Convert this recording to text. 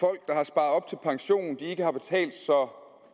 så pensionen ikke har betalt så